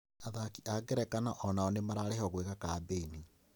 Athaki a ngerekano onao nĩmararĩhwo gwĩka kambĩini